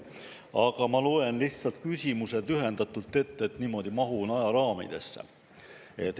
Aga ma loen lihtsalt küsimused lühendatult ette, niimoodi mahun ajaraamidesse.